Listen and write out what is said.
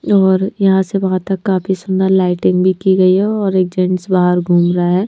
और यहां से वहां तक काफी सुंदर लाइटिंग भी की गई है और एक जेंट्स बाहर घूम रहा है।